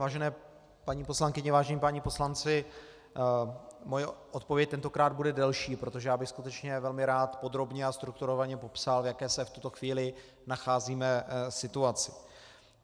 Vážené paní poslankyně, vážení páni poslanci, moje odpověď tentokrát bude delší, protože já bych skutečně velmi rád podrobně a strukturovaně popsal, v jaké se v tuto chvíli nacházíme situaci.